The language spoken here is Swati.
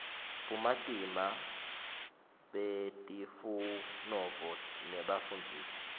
bumatima betifunovo nebafundzisi